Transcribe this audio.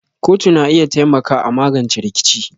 kotu na iya taimaka a magance rikici.